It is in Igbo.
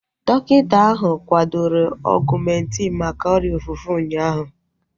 Dọkịta ahu kwadoro Ọgumentin maka ọrịa ofufe ụnyaahụ